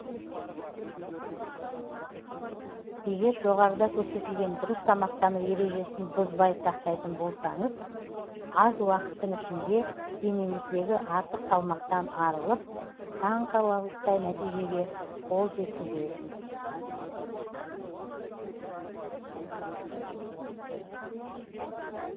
егер жоғарыда көрсетілген дұрыс тамақтану ережесін бұзбай сақтайтын болсаңыз аз уақыттың ішінде денеңіздегі артық салмақтан арылып таңқаларлықтай нәтижеге қол жеткізесіз